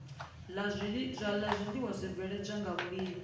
la zwiiwa zwibveledzwaho nga vhulimi